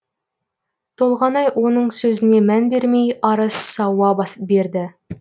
толғанай оның сөзіне мән бермей ары сауа берді